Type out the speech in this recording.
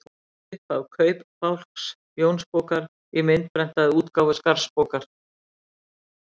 Upphaf Kaupabálks Jónsbókar í myndprentaðri útgáfu Skarðsbókar.